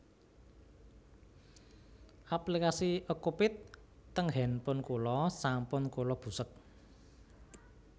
Aplikasi Okcupid teng handphone kula sampun kula busek